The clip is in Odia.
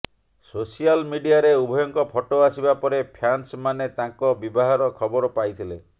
ସୋସିଆଲ ମିଡିଆରେ ଉଭୟଙ୍କ ଫଟୋ ଆସିବା ପରେ ପ୍ୟାନ୍ସମାନେ ତାଙ୍କ ବିବାହର ଖବର ପାଇଥିଲେ